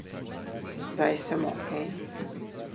Zdaj sem okej.